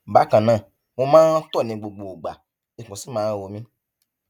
bákan náà mo máa ń tọ ní gbogbo ìgbà ikùn sì máa ń ro mi